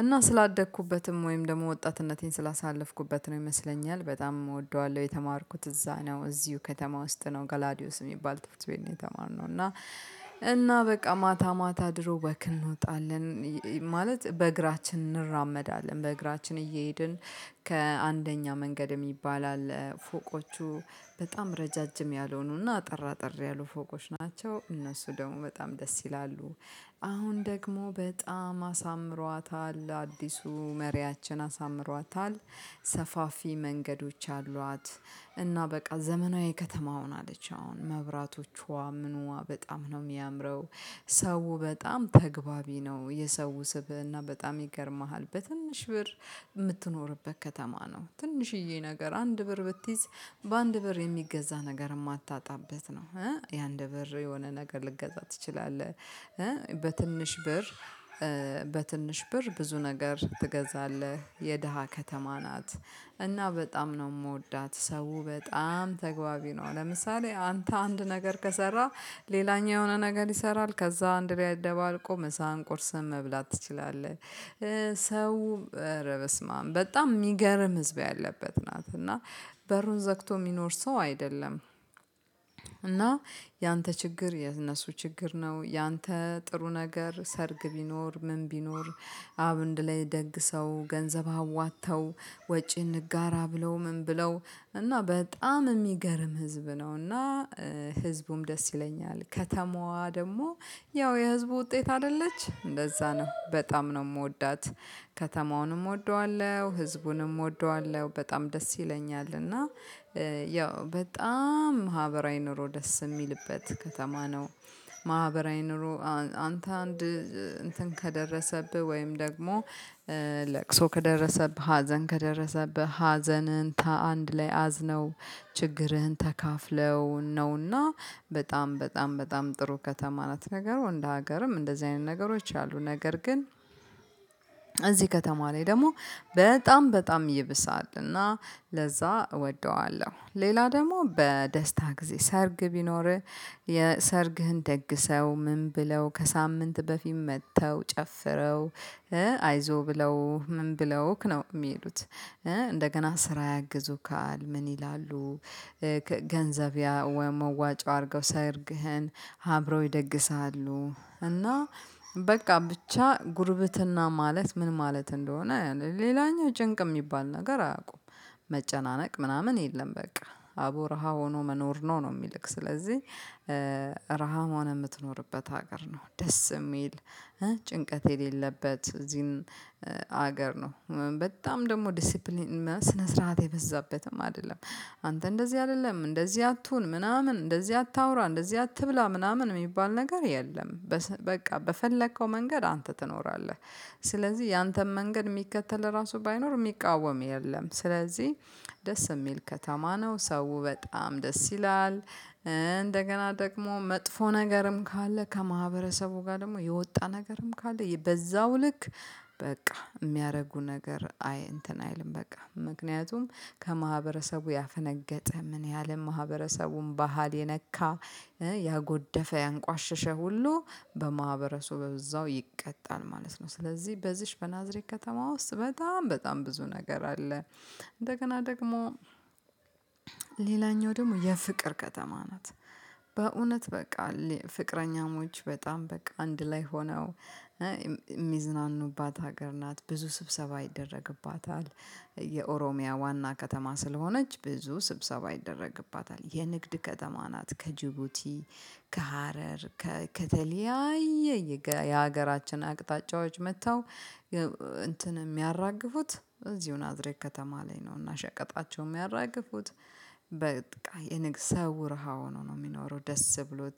እና ስላደግኩበትም ወይም ደግሞ ወጣትነቴን ስላሳለፍኩበት ነው ይመስለኛል በጣም እወደዋለሁ የተማርኩት እዛ ነው እዚሁ ከተማ ውስጥ ነው። ጋላዲዮስ የሚባል ትምህርት ቤት ነው የተማርነው እና እና በቃ ማታ ማታ ድሮ ወክ እንወጣለን። ማለት በእግራችን እንራመዳለን በእግራችን እየሄድን ከአንደኛ መንገድም የሚባል አለ ፎቆቹ በጣም ረዣዥም ያልሆኑና አጠር አጠር ያሉ ፎቆች ናቸው እነሱ ደግሞ በጣም ደስ ይላሉ። አሁን ደግሞ በጣም አሳምሯታል አዲሱ መሪያችን አሳምሯታል ሰፋፊ መንገዶች አሏት እና በቃ ዘመናዊ ከተማ ሆናለች አሁን መብራቶቿ ምኑዋ፣ በጣም ነው የሚያምረው ሰው በጣም ተገባቢ ነው የሰው ስብእና በጣም ይገርምሃል በትንሽ ብር የምትኖርበት ከተማ ነው። ትንሽዬ ነገር አንድ ብር ብትይዝ በአንድ ብር የሚገዛ ነገር የማታጣበት ነው። ያ እንደ ብር የሆነ ነገር ልትገዛ ትችላለህ በትንሽ ብር በትንሽ በር ብዙ ነገር ትገዛለህ የደሃ ከተማ ናት እና በጣም ነው የምወዳት ሰው በጣም ተግባቢ ነው ለምሳሌ አንተ አንድ ነገር ከሰራ፣ ሌላኛው የሆነ ነገር ይሰራል፣ ከዛ እንድ ላይ አደባለቆ ምሳህን ቁርስህን መብላት ትችላለህ። ሰው በስማም በጣም የሚገርም ህዝብ ያለበት ናት እና በሩን ዘግቶ የሚኖር ሰው አይደለም እና ያንተ ችግር የነሱ ችግር ነው፣ ያንተ ጥሩ ነገር ሰርግ ቢኖር ምን ቢኖር አብንድላይ ደግ ሰው ገንዘብ አዋጥተው ወጪ እንጋራ ብለው። ምን ብለው እና በጣም የሚገርም ህዝብ ነውና ህዝቡም ደስ ይለኛል ከተማዋ ደግሞ ያው የህዝቡ ውጤት አይደለች እንደዛ ነው። በጣም ነው የምወዳት ከተማውንም እወደዋለሁ፣ ህዝቡንም እወደዋለሁ፣ በጣም ደስ ይለኛል እና ያው በጣም ማህበራዊ ኑሮ ደስ የሚልበት ከተማ ነው። ማህበራዊ ኑሮ አንተ አንድ እንትን ከደረሰብህ ወይም ደግሞ ለቅሶ ከደረሰብህ ሀዘን ከደረሰብህ ሀዘንን ከአንድ ላይ አዝነው፣ ችግርህን ተካፍለው ነውና በጣም በጣም በጣም ጥሩ ከተማ ናት ነገሩ እንደ ሀገርም እንደዚህ አይነት ነገሮች አሉ ነገር ግን እዚህ ከተማ ላይ ደግሞ በጣም በጣም ይብሳል እና ለዛ እወደዋለሁ። ሌላ ደግሞ በደስታ ጊዜ ሰርግ ቢኖርህ የሰርግህን ደግሰው ምን ብለው ከሳምንት በፊት መጥተው፣ ጨፍረው፣ አይዞ ብለው፣ ምን ብለውክ ነው፣ የሚሄዱት። እንደገና ስራ ያግዙካል ምን ይላሉ፣ ገንዘብ ወይ መዋጫ አድርገው ሰርግህን አብረው ይደግስሃሉ እና በቃ ብቻ ጉርብትና ማለት ምን ማለት እንደሆነ ሌላኛው ጭንቅ የሚባል ነገር አያውቁም መጨናነቅ ምናምን የለም በቃ አቦ ረሃ ሆኖ መኖር ነው ነው። የሚልክ ስለዚህ ረሃ ሆነ የምትኖርበት ሀገር ነው ደስ የሚል ጭንቀት የሌለበት እዚህን ሀገር ነው በጣም ደግሞ ዲሲፕሊን ስነ ስርዓት የበዛበትም አይደለም አንተ እንደዚህ አይደለም፣ እንደዚህ አትሁን፣ ምናምን እንደዚህ አታውራ፣ እንደዚህ አትብላ፣ ምናምን የሚባል ነገር የለም በቃ በፈለከው መንገድ አንተ ትኖራለህ ስለዚህ ያንተን መንገድ የሚከተል ራሱ ባይኖር የሚቃወም። የለም ስለዚህ ደስ የሚል ከተማ ነው ሰው በጣም ደስ ይላል እንደገና ደግሞ መጥፎ ነገርም ካለ ከማህበረሰቡ ጋር ደግሞ የወጣ ነገርም ካለ በዛው ልክ በቃ የሚያደርጉ ነገር አይ እንትን አይልም በቃ ምክንያቱም ከማህበረሰቡ ያፈነገጠ ምን ያህል ማህበረሰቡም ባህል የነካ፣ ያጎደፈ፣ ያንቋሸሸ ሁሉ በማህበረሱ በዛው ይቀጣል ማለት ነው። ስለዚህ በዚህች በናዝሬት ከተማ ውስጥ በጣም በጣም ብዙ ነገር አለ። እንደገና ደግሞ ሌላኛው ደግሞ የፍቅር ከተማ ናት። በእውነት በቃ ፍቅረኛሞች በጣም በቃ አንድ ላይ ሆነው የሚዝናኑባት ሀገር ናት ብዙ ስብሰባ ይደረግባታል የኦሮሚያ ዋና ከተማ ስለሆነች ብዙ ስብሰባ ይደረግባታል የንግድ ከተማ ናት ከጅቡቲ ከሀረር ከከተለያየ የሀገራችን አቅጣጫዎች መጥተው እንትን የሚያራግፉት እዚሁን ናዝሬት ከተማ ላይ ነውና ሸቀጣቸው ሚያራግፉት በቃ የንግስ ሰው ረሃ ሆኖ ነው የሚኖረው ደስ ብሎት